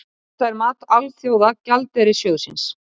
Þetta er mat Alþjóða gjaldeyrissjóðsins